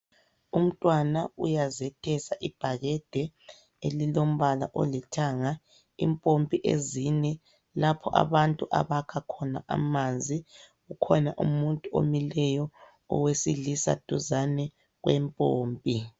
Umntwana uyazethesa ibhakede elilombala olithanga. Impompi ezine lapho abantu abakha khona amanzi. Kukhona umuntu omileyo owesilisa duzane kwempompi.